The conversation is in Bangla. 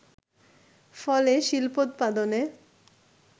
ফলে শিল্পোৎপাদনে